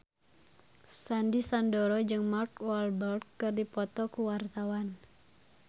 Sandy Sandoro jeung Mark Walberg keur dipoto ku wartawan